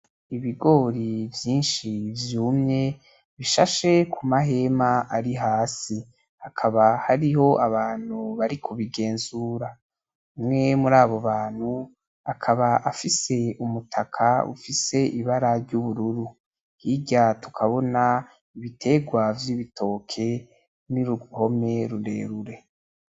Ibigori vyinshi vyumye bishashe ku mahema ari hasi hakaba hariho abantu bari kubigenzura umwe muri abo bantu akaba afise umutaka ufise ibara ry’ubururu hirya tukabona ibiterwa vy'ibitoke ni uruhome rurerure .